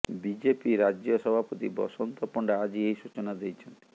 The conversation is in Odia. ବିଜେପି ରାଜ୍ୟ ସଭାପତି ବସନ୍ତ ପଣ୍ଡା ଆଜି ଏହି ସୂଚନା ଦେଇଛନ୍ତି